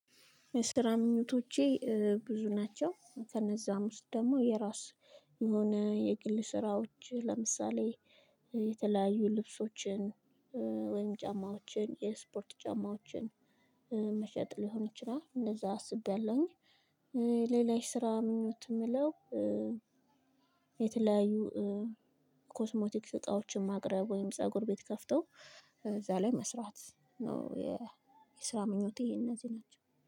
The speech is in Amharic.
ስራ ምኞቶቼ ብዙ ናቸው ከነዛ ውስጥ ደግሞ የራስ የሆነ የግል ስራወቺህ ለምሳሌ የተለያዩ ልብሶቺን ቻማወቺን የስፖርቻማወችን መሸጥ ሊሆን ይቺላል። ሌላ የስራ ምኞት እምለው። የተለያዩ ኮስሞቲክ እቃወችን ማቅረብ ወይም ፀጉር ቤት ከፍተው እዛ ላይ መስራት ነው። የስራ ምኞቴ እነዚህ ናቸው